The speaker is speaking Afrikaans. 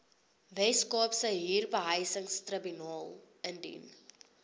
weskaapse huurbehuisingstribunaal indien